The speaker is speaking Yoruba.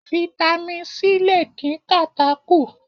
Fitami C lè dín kàtá kù.